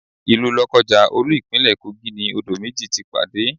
Ilu Lokaja, olú Ìpínlẹ̀ Kogi ni odò méjì ti pàdé.